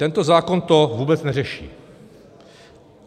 Tento zákon to vůbec neřeší.